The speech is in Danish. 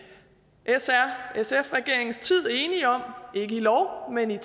s r sf regeringens tid enige om ikke i lov men i